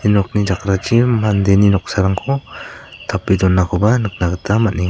nokni jakrachi mandeni noksarangko tape donakoba nikna gita man·enga.